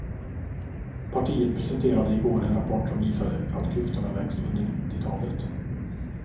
Partiet presenterade i går en rapport som visade att klyftorna växt under nittiotalet.